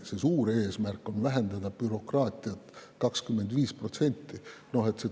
Suur eesmärk on vähendada bürokraatiat 25%.